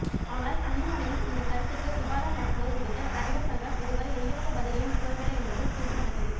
ஆனால் அன்புமணியின் இந்த கருத்துக்கு விவாதம் நடத்துவது குறித்து நடிகர் சங்கம் இதுவரை எந்தவித பதிலையும் கூறவில்லை என்பது குறிப்பிடத்தக்கது